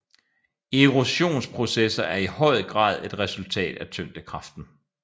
Erosionsprocesser er i høj grad et resultat af tyngdekraften